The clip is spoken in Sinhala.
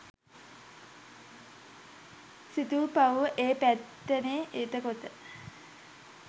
සිතුල්පව්ව ඒ පැත්තෙනේ. එතකොට